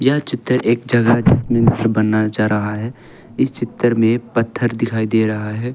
यह चित्र एक जगह जिसमे घर बनाया जा रहा हैं इस चित्र में पत्थर दिखाई दे रहा हैं।